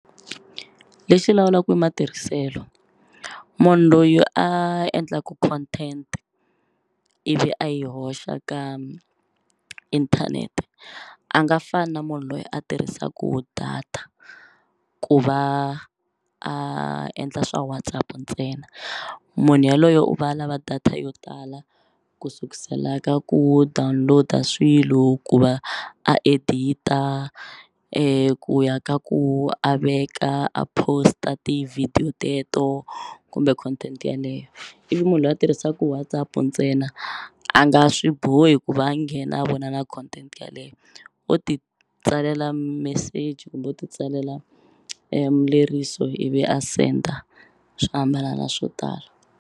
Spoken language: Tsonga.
Lexi lawulaku i matirhiselo munhu loyi a endlaka content ivi a yi hoxa ka inthanete a nga fani na munhu loyi a tirhisaku data ku va a endla swa WhatsApp ntsena munhu yaloyo u va lava data yo tala ku sukusela ka ku download-a swilo ku va edit-a ku ya ka ku a veka a post-a ti-video teto kumbe content yaleyo ivi munhu loyi a tirhisaku WhatsApp ntsena a nga swi bohi ku va a nghena a vona na content yaleyo o ti tsalela meseji kumbe u titsalela ivi a senda swi hambana na swo tala.